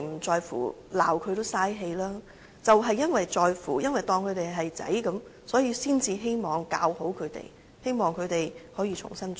就是因為在乎，因為當他們是兒子，才希望教好他們，希望他們可以重新做人。